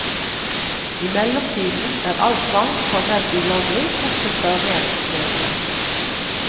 I mellomtiden er all tvang formelt ulovlig, bortsett fra ren nødrett.